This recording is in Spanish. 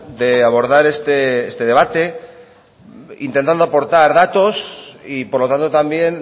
de abordar este debate intentando aportar datos y por lo tanto también